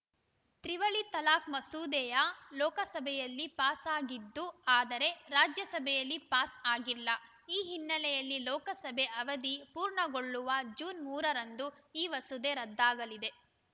ತ್ರಿವಳಿ ತಲಾಖ್‌ ಮಸೂದೆಯು ಲೋಕಸಭೆಯಲ್ಲಿ ಪಾಸಾಗಿತ್ತು ಆದರೆ ರಾಜ್ಯಸಭೆಯಲ್ಲಿ ಪಾಸ್‌ ಆಗಿಲ್ಲ ಈ ಹಿನ್ನೆಲೆಯಲ್ಲಿ ಲೋಕಸಭೆ ಅವಧಿ ಪೂರ್ಣಗೊಳ್ಳುವ ಜೂನ್ ಮೂರ ರಂದು ಈ ಮಸೂದೆ ರದ್ದಾಗಲಿದೆ